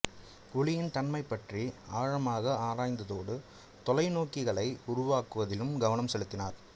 ஒளியின் தன்மைப் பற்றி ஆழமாக ஆராய்ந்ததோடு தொலைநோக்கிகளை உருவாக்குவதிலும் கவனம் செலுத்தினார்